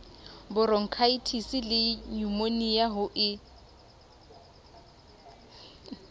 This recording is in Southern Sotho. boronkhaetisi le nyumonia ho e